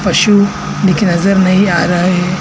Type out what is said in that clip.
पशु दिख नजर नहीं आ रहा है।